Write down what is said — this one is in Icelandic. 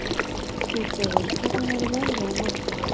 Styrgerður, hvernig verður veðrið á morgun?